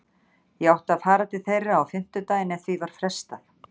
Ég átti að fara til þeirra á fimmtudaginn en því var frestað.